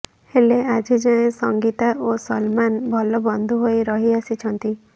ହେଲେ ଆଜି ଯାଏଁ ସଙ୍ଗୀତା ଓ ସଲମାନ ଭଲ ବନ୍ଧୁ ହୋଇ ରହିଆସିଛନ୍ତି